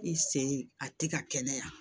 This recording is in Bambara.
I sen a tɛ ka kɛnɛya